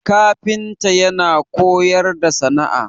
kafinta yana koyar da sana'a